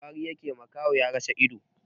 Wari yake yi, makaho ya rasa ido.